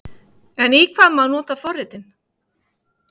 En í hvað má nota forritin?